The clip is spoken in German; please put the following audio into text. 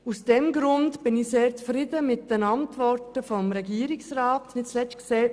Aus diesem Grund bin ich mit der Antwort des Regierungsrats sehr zufrieden.